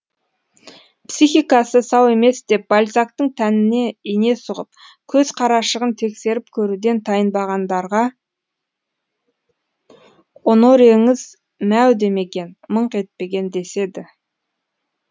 психикасы сау емес деп бальзактың тәніне ине сұғып көз қарашығын тексеріп көруден тайынбағандарға онореңіз мәу демеген мыңқ етпеген деседі